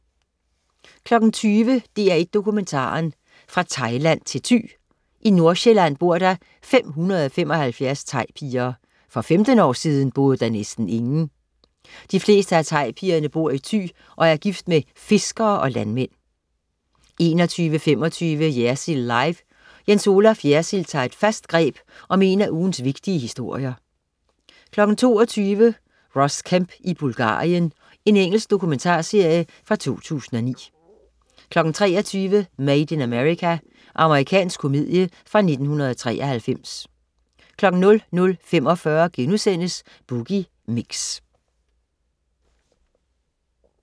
20.00 DR1 Dokumentaren. Fra Thailand til Thy. I Nordjylland bor der 575 thaipiger. For 15 år siden boede der næsten ingen! De fleste af thaipigerne bor i Thy og er gift med fiskere og landmænd 21.25 Jersild Live. Jens Olaf Jersild tager et fast greb om en af ugens vigtige historier 22.00 Ross Kemp i Bulgarien. Engelsk dokumentarserie fra 2009 23.00 Made in America. Amerikansk komedie fra 1993 00.45 Boogie Mix*